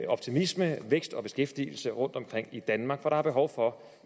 optimisme vækst og beskæftigelse rundtomkring i danmark for der er behov for